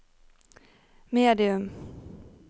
medium